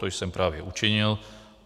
To jsem právě učinil.